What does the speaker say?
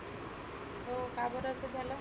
हो का बरं असं झाल?